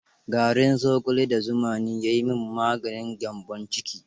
Garin zogale da zuma ne ya yi min maganin gyambon ciki.